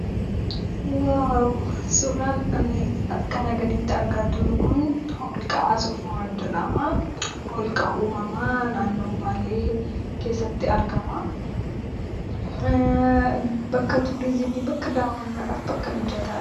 'Waaw!' Suuraan kanaa gaditti argaa jirru kun holqa Soof-umar jedhama. Holqa uumamaa naannoo Baalee keessatti argama. Bakka 'Tuuriizimii', bakka daawwannaadhaaf bakka mijataadha.